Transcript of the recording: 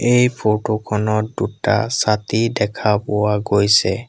এই ফৰটো খনত দুটা ছাতি দেখা পোৱা গৈছে।